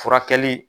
Furakɛli